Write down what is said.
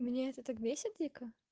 меня это так бесит дико